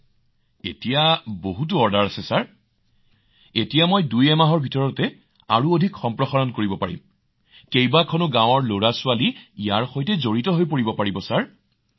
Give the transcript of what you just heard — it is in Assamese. মহোদয় মোৰ ওচৰত ইয়াৰ বাবে বহুতো অৰ্ডাৰ আছে এতিয়া মই এক বা দুই মাহত আৰু অধিক সম্প্ৰসাৰিত কৰিম আৰু দুখনৰ পৰা চাৰিখন গাওঁ সামৰি লম ২০০ৰ পৰা ২৫০ জন লৰাছোৱালী লম যাতে তেওঁলোকে তেওঁলোকৰ জীৱিকা অব্যাহত ৰাখিব পাৰে মহোদয়